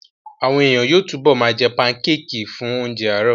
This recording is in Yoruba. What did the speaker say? Àwọn èèyàn yóò túbọ̀ ma jẹ́ pankéèkì fún oúnjẹ àárọ̀